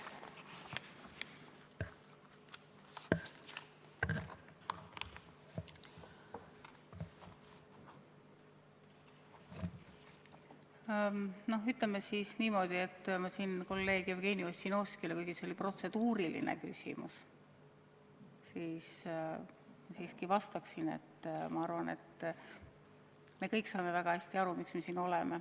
No ütleme siis niimoodi – ma kolleeg Jevgeni Ossinovskile, kuigi see oli protseduuriline küsimus, siiski vastaksin –, et küllap me kõik saame väga hästi aru, miks me siin oleme.